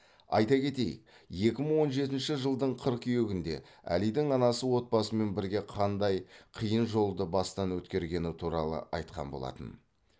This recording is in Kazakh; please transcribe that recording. айта кетейік екі мың он жетінші жылдың қыркүйегінде әлидің анасы отбасымен бірге қандай қиын жолды бастан өткергені туралы айтқан болатын